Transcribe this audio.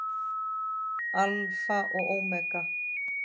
Alfa og ómega.